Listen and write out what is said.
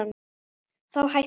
Þá hætti ég!